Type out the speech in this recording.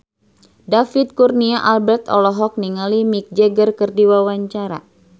David Kurnia Albert olohok ningali Mick Jagger keur diwawancara